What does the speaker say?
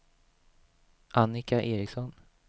Annika Ericsson